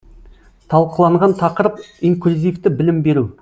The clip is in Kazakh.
талқыланған тақырып инклюзивті білім беру